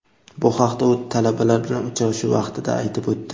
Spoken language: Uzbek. Bu haqda u talabalar bilan uchrashuv vaqtida aytib o‘tdi.